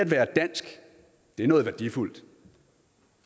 være dansk er noget værdifuldt